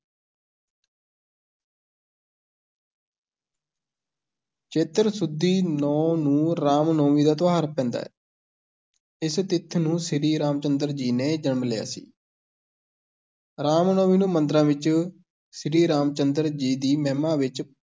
ਚੇਤਰ ਸੁਦੀ ਨੌਂ ਨੂੰ ਰਾਮ-ਨੌਮੀ ਦਾ ਤਿਉਹਾਰ ਪੈਂਦਾ ਹੈ ਇਸ ਤਿੱਥ ਨੂੰ ਸ੍ਰੀ ਰਾਮ ਚੰਦਰ ਜੀ ਨੇ ਜਨਮ ਲਿਆ ਸੀ ਰਾਮ ਨੌਮੀ ਨੂੰ ਮੰਦਰਾਂ ਵਿੱਚ ਸ੍ਰੀ ਰਾਮ ਚੰਦਰ ਜੀ ਦੀ ਮਹਿਮਾ ਵਿੱਚ